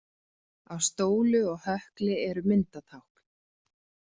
Á stólu og hökli eru myndatákn.